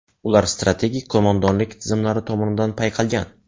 Ular strategik qo‘mondonlik tizimlari tomonidan payqalgan.